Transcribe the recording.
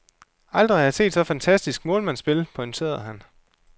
Aldrig har jeg set så fantastisk målmandsspil, pointerede han.